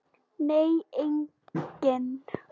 Nei, enginn.